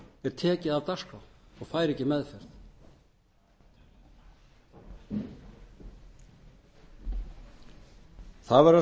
er tekið af dagskrá og fær ekki meðferð það verður að segjast